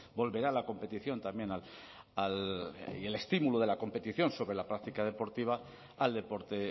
volverá la competición también y el estímulo de la competición sobre la práctica deportiva al deporte